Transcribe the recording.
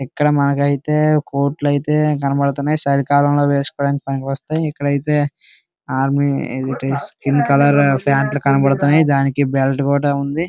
ఇక్కడ మాకు అయితే కోట్లు అయితే కనపడుతున్నాయి. చలికాలంలో వేసుకోవడానికి పనికొస్తాయి. ఇక్కడ అయితే ఆర్మీ స్కిన్ కలర్ ప్యాంట్ లు కనబడుతున్నాయి. దానికి బెల్ట్ కూడా ఉంది.